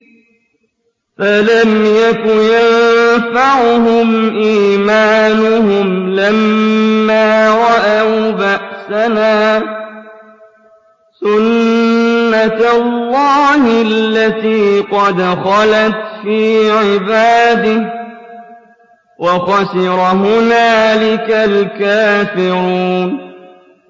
فَلَمْ يَكُ يَنفَعُهُمْ إِيمَانُهُمْ لَمَّا رَأَوْا بَأْسَنَا ۖ سُنَّتَ اللَّهِ الَّتِي قَدْ خَلَتْ فِي عِبَادِهِ ۖ وَخَسِرَ هُنَالِكَ الْكَافِرُونَ